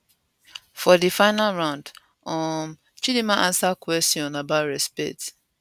for di final round um chidimma ansa kwesion about respect